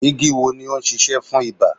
Igi wo ni o ń sisẹ́ fún ibà